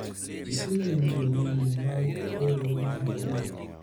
isewinjo wende mag riwruogno adier ?